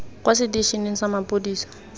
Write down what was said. kwa seteišeneng sa maphodisa sa